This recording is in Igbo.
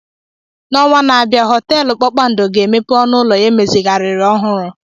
N'ọnwa na-abịa, họteelu kpakpando ga-emepe ọnụ ụlọ ya emezigharịrị ọhụrụ.